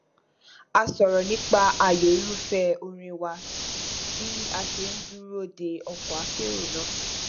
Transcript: a sọrọ nípa ààyò irúfẹ orin wa bí a ṣe n dúró de ọkọ akérò náà